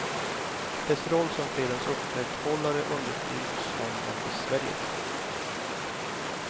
Dess roll som fredens upprätthållare understryks som en besvärjelse.